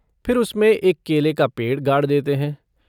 फिर उसमें एक केले का पेड़ गाड़ देते हैं।